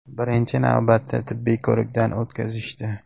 Birinchi navbatda tibbiy ko‘rikdan o‘tkazishdi.